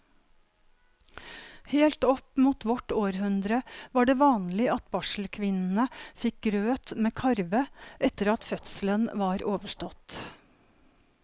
Helt opp mot vårt århundre var det vanlig at barselkvinnene fikk grøt med karve etter at fødselen var overstått.